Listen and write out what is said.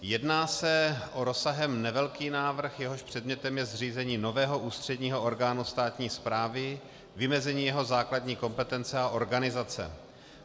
Jedná se o rozsahem nevelký návrh, jehož předmětem je zřízení nového ústředního orgánu státní správy, vymezení jeho základní kompetence a organizace.